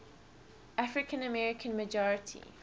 african american majority